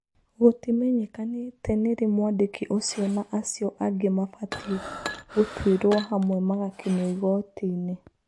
Gũtĩmenyekanĩte nĩrĩ mwandĩki ũcio na acio angĩ mabatiĩ gũtwĩro hamwe magakinyio igotinĩ.